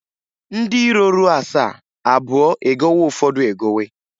Ndị iro ruo asaa abụọ e gowe Ụfọdụ egowe.